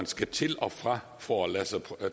skal til og fra for at lade sig